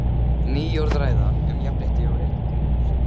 Ný orðræða um jafnrétti og réttindi hófst.